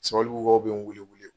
Sabalibugukaw bɛ n wele wele